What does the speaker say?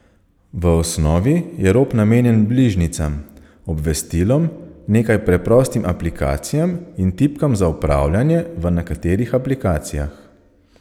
V osnovi je rob namenjen bližnjicam, obvestilom, nekaj preprostim aplikacijam in tipkam za upravljanje v nekaterih aplikacijah.